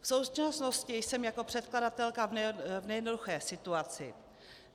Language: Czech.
V současnosti jsem jako předkladatelka v nejednoduché situaci.